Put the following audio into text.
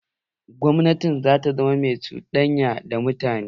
Gwamnatin za ta zama mai cuɗanya da mutane.